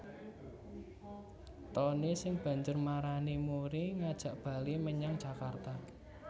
Tonny sing banjur marani Murry ngajak bali menyang Jakarta